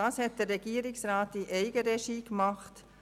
Der Regierungsrat hat dies in Eigenregie getan.